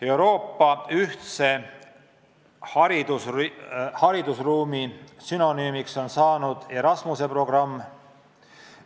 Euroopa ühtse haridusruumi sünonüümiks on saanud Erasmuse programm.